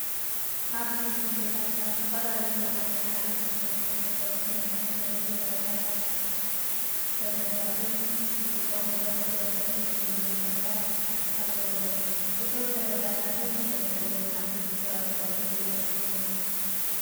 ኣብ ቤት ዕዮታት ካብ ዝተፈላላዩ ማለት ሓፂን፣ ዕንፀይትን ዝተሰርሑ ንመቀመጢ ፋይላትን ሰነዳትን ዝጥቀምሎም መደርደሪ ሸልፍታት ኣለዉዎም። እቶም ሰነዳት ብደንቢ እንተታሒዞም ሓደሽቲ ሰባት ብቀሊሉ ይረክብዎም።